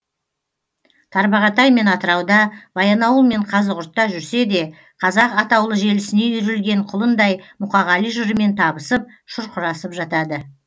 тарбағатай мен атырауда баянауыл мен қазығұртта жүрсе де қазақ атаулы желісіне үйірілген құлындай мұқағали жырымен табысып шұрқырасып жатады